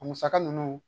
A musaka ninnu